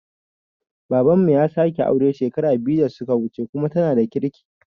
Babana ya sake aure shekara biyu da suka wuce kuma tana da kirki